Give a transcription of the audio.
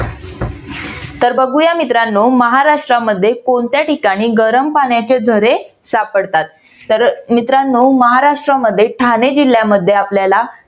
तर बघूया मित्रांनो महाराष्ट्रामध्ये कोणत्या ठिकाणी गरम पाण्याचे झरे सापडतात तर मित्रानो महाराष्ट्रामध्ये ठाणे जिल्यामध्ये आपल्याला